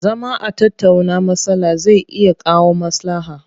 Zama a tattauna matsala zai iya kawo maslaha.